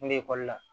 N bɛ ekɔli la